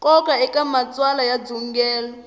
nkoka eka matsalwa ya ndzungulo